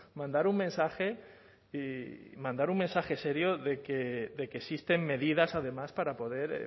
mandar un mensaje y mandar un mensaje serio de que existen medidas además para poder